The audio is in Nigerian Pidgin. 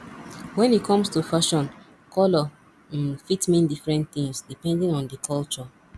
when e comes to fashion colour um fit mean different things depending on di culture